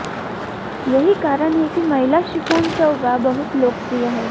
यही कारण है कि महिला शिफॉन चौग़ा बहुत लोकप्रिय हैं